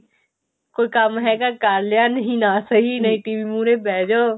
ਕੋਈ ਕੰਮ ਹੈਗਾ ਕਰ ਲਿਆ ਨਹੀਂ ਨਾਂ ਸਹੀ ਨਹੀਂ TV ਮੁਹਰੇ ਬੈਠ ਜੋ